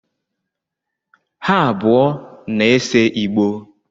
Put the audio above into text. Ha abụọ na-ese Igbo